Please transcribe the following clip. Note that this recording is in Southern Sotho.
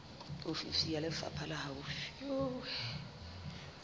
ofisi ya lefapha le haufi